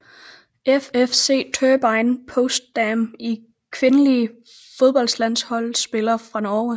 FFC Turbine Potsdam Kvindelige fodboldlandsholdsspillere fra Norge